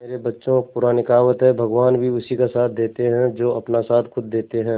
मेरे बच्चों पुरानी कहावत है भगवान भी उसी का साथ देते है जो अपना साथ खुद देते है